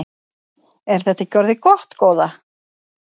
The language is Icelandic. Er þetta ekki orðið gott góða?